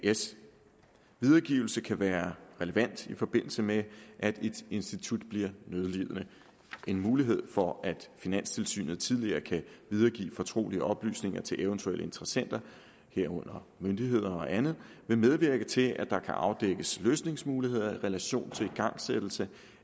as videregivelse kan være relevant i forbindelse med at et institut bliver nødlidende en mulighed for at finanstilsynet tidligere kan videregive fortrolige oplysninger til eventuelle interessenter herunder myndigheder og andet vil medvirke til at der kan afdækkes løsningsmuligheder i relation til igangsættelse